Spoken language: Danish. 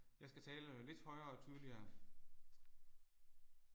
Jeg skal tale lidt højere og tydeligere